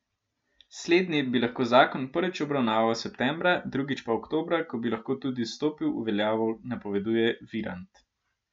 Slednji bi lahko zakon prvič obravnaval septembra, drugič pa oktobra, ko bi lahko tudi stopil v veljavo, napoveduje Virant.